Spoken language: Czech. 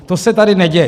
To se tady neděje.